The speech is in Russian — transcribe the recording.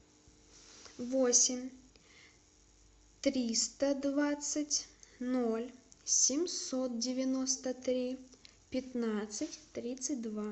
восемь триста двадцать ноль семьсот девяносто три пятнадцать тридцать два